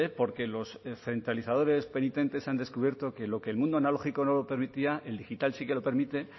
porque los centralizadores penitentes han descubierto que lo que el mundo analógico no permitía el digital sí que lo permite